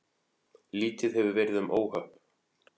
Lítið hefur verið um óhöpp